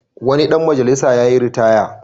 Wani dan majalisa yayi ritaya.